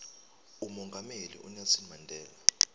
umongameli unelson mandela